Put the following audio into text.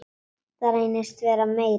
En það reynist vera meira.